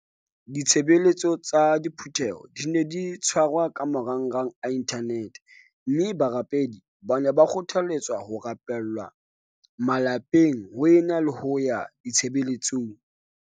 Ditshebeletso tsa diphu theho di ne di tshwarwa ka marangrang a inthanete mme barapedi ba ne ba kgothale tswa ho rapella malapeng ho e na le ho ya ditshebeletsong.